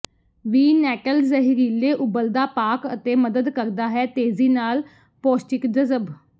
ਵੀ nettle ਜ਼ਹਿਰੀਲੇ ਉੱਬਲਦਾ ਪਾਕ ਅਤੇ ਮਦਦ ਕਰਦਾ ਹੈ ਤੇਜ਼ੀ ਨਾਲ ਪੌਸ਼ਟਿਕ ਜਜ਼ਬ